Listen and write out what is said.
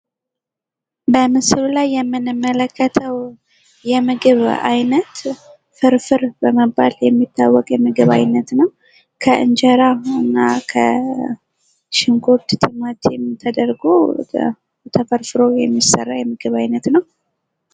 በምስሉ ላይ የምንመለከተው የምግብ ዓይነት ፍርፍር በመባል የሚታወቅ የምግብ አይነት ነው። ከእንጀራ እና ከሽንኩርት፣ ቲማቲም ተደርጎ ተፈርፍሮ የሚሰራ የምግብ ዓይነት ነው።